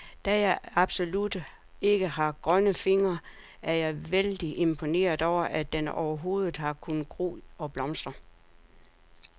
Da jeg absolut ikke har grønne fingre, er jeg vældig imponeret over, at den overhovedet har kunnet gro og blomstre.